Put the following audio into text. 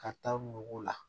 Ka taa ɲugu la